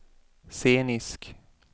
scenisk